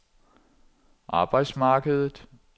arbejdsmarkedet